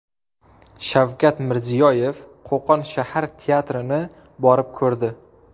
Shavkat Mirziyoyev Qo‘qon shahar teatrini borib ko‘rdi.